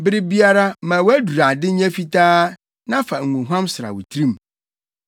Bere biara ma wʼadurade nyɛ fitaa na fa ngohuam sra wo tirim.